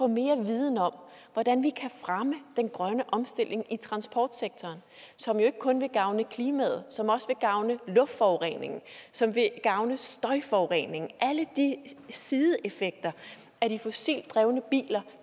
mere viden om hvordan vi kan fremme den grønne omstilling i transportsektoren som jo ikke kun vil gavne klimaet som også vil gavne i luftforureningen som vil gavne i støjforureningen alle de sideeffekter af de fossilt drevne biler